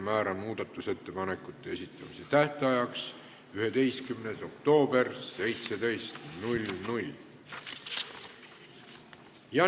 Määran muudatusettepanekute esitamise tähtajaks 11. oktoobri kell 17.